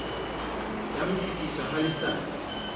ya ho fetiswa ha letsatsai